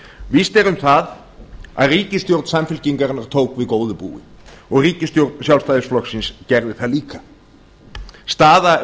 víst er um það að ríkisstjórn samfylkingarinnar tók við góðu búi ríkisstjórn sjálfstæðisflokksins gerði það líka staða